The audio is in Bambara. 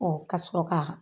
ka sɔrɔ ka.